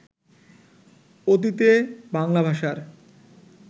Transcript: অতীতে বাংলা ভাষার